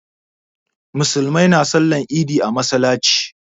Musulmai na sallar idi a masallaci